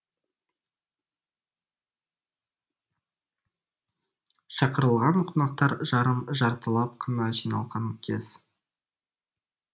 шақырылған қонақтар жарым жартылап қана жиналған кез